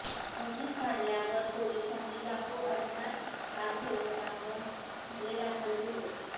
मशीद पाडल्यावर पोलिसांनी लाखो अज्ञात कारसेवकांवर खटले दाखल केले